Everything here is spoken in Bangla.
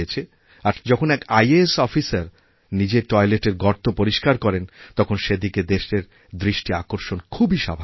আর যখন এক ই আ স্ অফিসার নিজে টয়লেটের গর্তপরিস্কার করেন তখন সেদিকে দেশের দৃষ্টি আকর্ষণ খুবই স্বাভাবিক